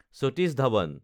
Satish Dhawan